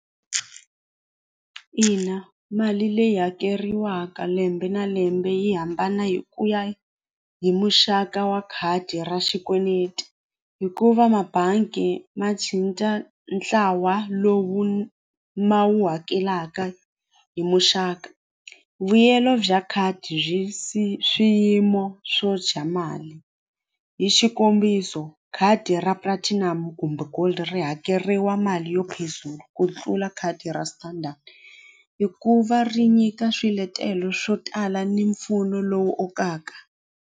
Ina mali leyi hakeriwaka lembe na lembe yi hambana hi ku ya hi muxaka wa khadi ra xikweneti hikuva mabangi ma ntlawa lowu ma wu hakelaka hi muxaka vuyelo bya khadi byi swiyimo swo dya mali hi xikombiso khadi ra platinum kumbe gold ri hakeriwa mali yo ku tlula khadi ra standard hikuva ri nyika swiletelo swo tala ni mpfuno lowu okaka.